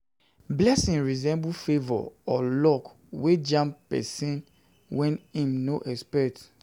Blessing resemble favour or luck wey just jam person when im no expect